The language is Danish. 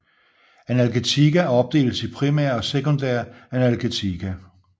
Analgetika opdeles i primære og sekundære analgetika